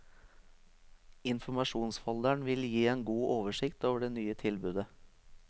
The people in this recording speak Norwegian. Informasjonsfolderen vil gi en god oversikt over det nye tilbudet.